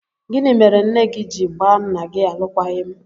Gịnị mere nne gị ji gbaa nna gị alụkwaghịm?